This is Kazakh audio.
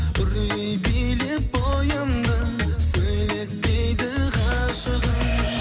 үрей билеп бойымнан сөйлетпейді ғашығым